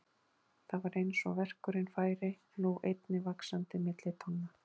Það var eins og verkurinn færi nú einnig vaxandi milli tánna.